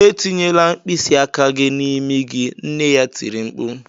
"Etinyela mkpịsị aka gị n'imi gị" nne ya tiri mkpu